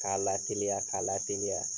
K'a lateliya, k'a lateliya